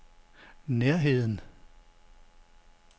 nærheden